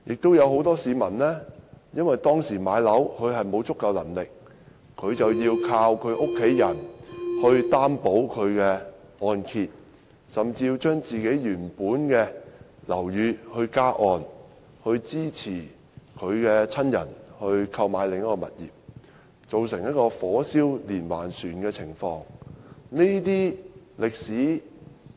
此外，很多市民置業時沒有足夠能力，要靠家人為按揭貸款作擔保，甚至要將家人原本的樓宇加按，以支持購買另一個物業，造成"火燒連環船"的情況。